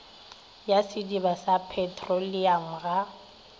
ya sediba sa petroleamo ga